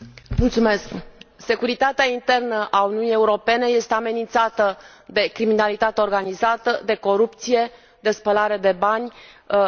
Doamnă Președintă, securitatea internă a Uniunii Europene este amenințată de criminalitatea organizată, de corupție, de spălare de bani,